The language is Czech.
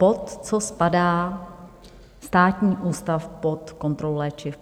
Pod co spadá Státní ústav pod kontrolu léčiv?